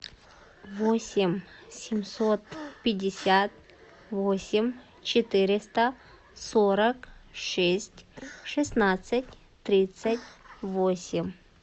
восемь семьсот пятьдесят восемь четыреста сорок шесть шестнадцать тридцать восемь